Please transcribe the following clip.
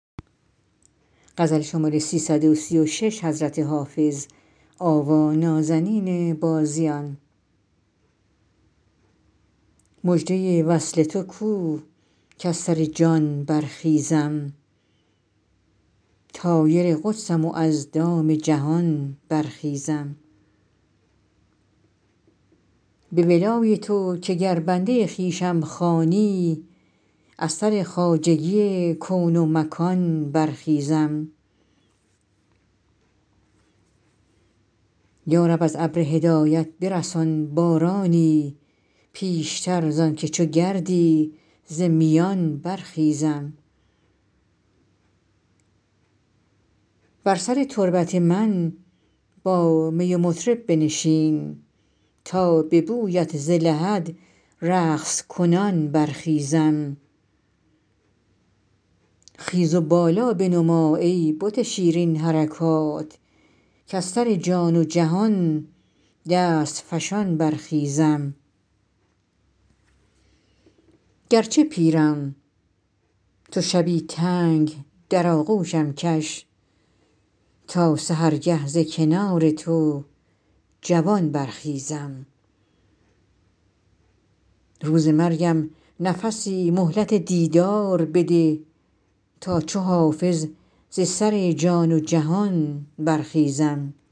مژده وصل تو کو کز سر جان برخیزم طایر قدسم و از دام جهان برخیزم به ولای تو که گر بنده خویشم خوانی از سر خواجگی کون و مکان برخیزم یا رب از ابر هدایت برسان بارانی پیشتر زان که چو گردی ز میان برخیزم بر سر تربت من با می و مطرب بنشین تا به بویت ز لحد رقص کنان برخیزم خیز و بالا بنما ای بت شیرین حرکات کز سر جان و جهان دست فشان برخیزم گرچه پیرم تو شبی تنگ در آغوشم کش تا سحرگه ز کنار تو جوان برخیزم روز مرگم نفسی مهلت دیدار بده تا چو حافظ ز سر جان و جهان برخیزم